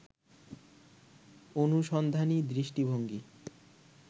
অনুসন্ধানী দৃষ্টিভঙ্গি